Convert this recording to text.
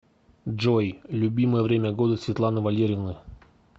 джой любимое время года светланы валерьевны